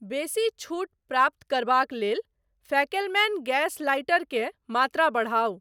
बेसी छूट प्राप्त करबाक लेल फैकेलमैन गैस लाइटर के मात्रा बढ़ाउ।